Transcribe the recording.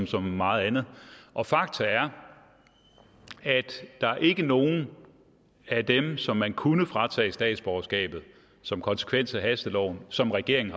så meget andet og fakta er at der ikke er nogen af dem som man kunne fratage statsborgerskabet som konsekvens af hasteloven som regeringen